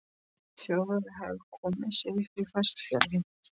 Þjóðverjar hefðu komið sér upp á Vestfjörðum.